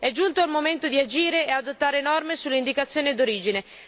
È giunto il momento di agire e adottare norme sull'indicazione d'origine.